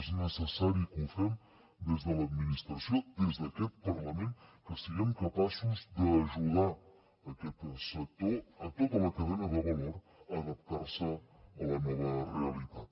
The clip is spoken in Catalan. és necessari que ho fem des de l’administració des d’aquest parlament que siguem capaços d’ajudar aquest sector a tota la cadena de valor a adaptar se a la nova realitat